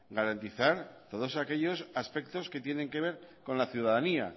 garantizar todos aquellos aspectos que tienen que ver con la ciudadanía